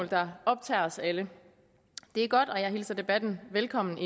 der optager os alle det er godt og jeg hilser debatten velkommen